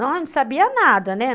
Não sabia nada, né.